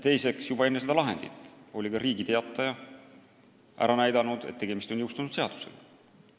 Teiseks, juba enne seda lahendit oli ka Riigi Teataja ära näidanud, et tegemist on jõustunud seadusega.